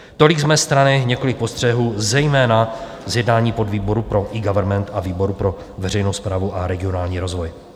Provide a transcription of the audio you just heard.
Tolik z mé strany několik postřehů, zejména z jednání podvýboru pro eGovernment a výboru pro veřejnou správu a regionální rozvoj.